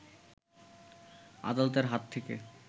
আদালতের হাত থেকে